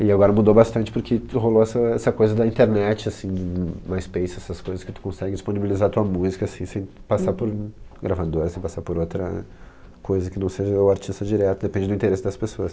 E agora mudou bastante porque rolou essa essa coisa da internet assim, MySpace, essas coisas que tu consegue disponibilizar tua música assim sem passar por gravador, sem passar por outra coisa que não seja o artista direto, depende do interesse das pessoas.